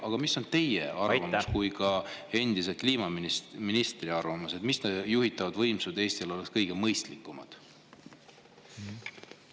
Aga mis on teie kui ka endise kliimaministri arvamus: millised juhitavad võimsused oleks Eestis kõige mõistlikumad?